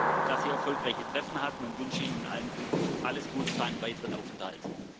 Ich hoffe, dass Sie erfolgreiche Treffen hatten und wünsche Ihnen alles Gute für Ihren weiteren Aufenthalt.